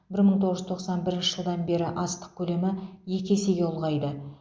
бір мың тоғыз жүз тоқсан бірінші жылдан бері астық көлемі екі есеге ұлғайды